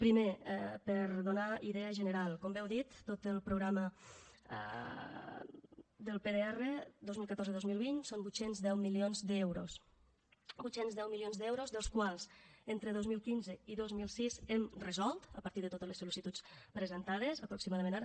primer per a donar idea general com bé heu dit tot el programa del pdr dos mil catorze dos mil vint són vuit cents i deu milions d’euros vuit cents i deu milions d’euros dels quals entre dos mil quinze i dos mil setze hem resolt a partir de totes les sol·licituds presentades aproximadament ara